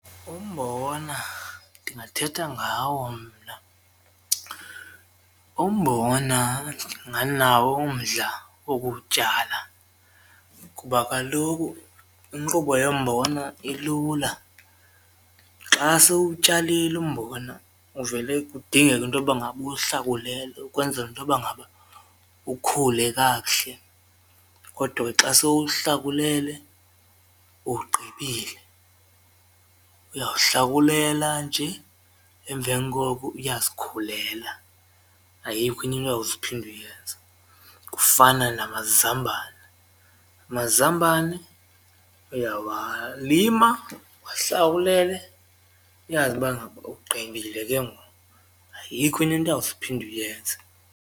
Umbona ndingathetha ngawo mna. Umbona ndinganawo umdla wokuwutyala kuba kaloku inkqubo yombona ilula, xa sewuwutyalile umbona uvele kudingeke intoba ngaba uwuhlakulele ukwenzela intoba ngaba ukhule kakuhle, kodwa ke xa sewuhlakulele uwugqibile. Uyawuhlakulela nje emveni koko uyazikhulela ayikho into uyawuze uphinde uyenze. Kufana namazambane, amazambane uyawalima wahlakulele uyazi uba ngaba ugqibile ke ngoku ayikho enye into uyawuze uphinde uyenze.